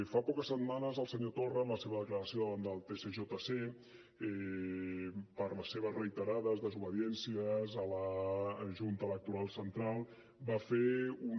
fa poques setmanes el senyor torra en la seva declaració davant el tsjc per les seves reiterades desobediències a la junta electoral central va fer una